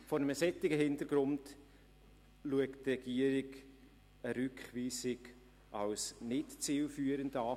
Vor einem solchen Hintergrund schaut die Regierung die Rückweisung als nicht zielführend an.